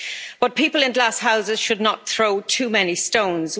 But people in glass houses should not throw too many stones.